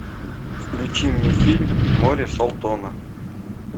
включи мне фильм море солтона